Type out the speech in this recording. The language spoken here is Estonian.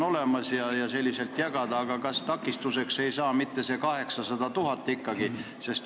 Kui selliselt jagada, kas takistuseks ei saa ikkagi see nõutav 800 000?